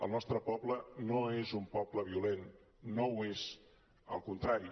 el nostre poble no és un poble violent no ho és al contrari